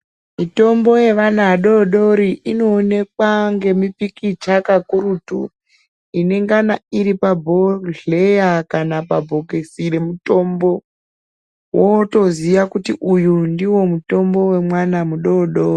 Mitombo yevana adodori inooneke ngemipikicha kakurutu inengana iri bhodhleya kana pabhokisi remutombo wotoziya kuti uyu ndiwo mutombo wemwana mudodori.